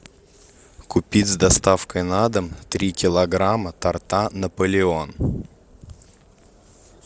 купить с доставкой на дом три килограмма торта наполеон